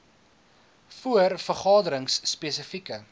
voor vergaderings spesifieke